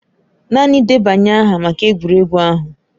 Naanị debanye aha maka egwuregwu ahụ.